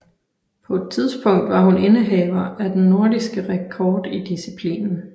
På et tidspunkt var hun indehaver af den nordiske rekord i disciplinen